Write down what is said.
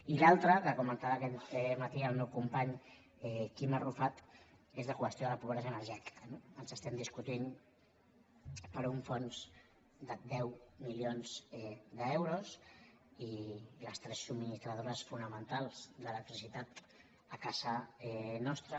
i l’altra que comentava aquest matí el meu company quim arrufat és la qüestió de la pobresa energètica no estem discutint per un fons de deu milions d’euros i les tres subministradores fonamentals d’electricitat a casa nostra